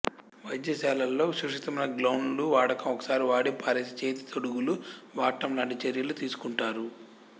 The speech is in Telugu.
వైద్యశాలల్లో సురక్షితమైన గౌన్లు వాడకం ఒకసారి వాడి పారేసే చేతితొడుగులు వాడటం లాంటి చర్యలు తీసుకుంటారు